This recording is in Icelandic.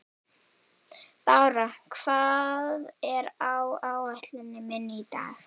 Bára, hvað er á áætluninni minni í dag?